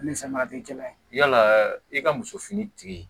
Ni fɛn ma kɛ kelen ye yala i ka muso fini tigi